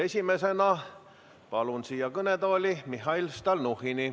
Esimesena palun siia kõnetooli Mihhail Stalnuhhini.